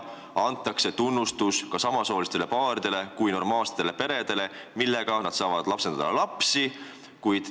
Sellega tunnustataks samasoolisi paare kui normaalseid peresid, kes saavad lapsi lapsendada.